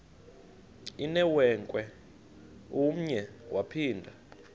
inewenkwe umnwe yaphinda